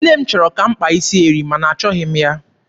Nne m chọrọ ka m kpaa isi eri, ma na achọghị m ya.